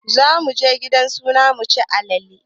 Zamuje gidan suna muci alale